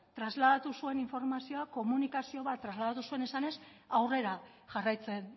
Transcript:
trasladatu zuen informazioa komunikazio bat trasladatu zuen esanez aurrera jarraitzen